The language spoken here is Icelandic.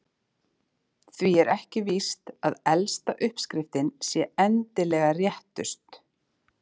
Því er ekki víst að elsta uppskriftin sé endilega réttust.